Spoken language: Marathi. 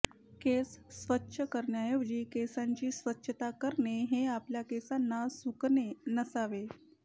केस स्वच्छ करण्याऐवजी केसांची स्वच्छता करणे हे आपल्या केसांना सुकणे नसावे